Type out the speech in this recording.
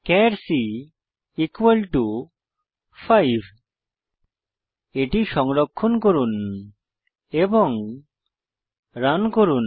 চার c 5 এটি সংরক্ষণ করুন এবং রান করুন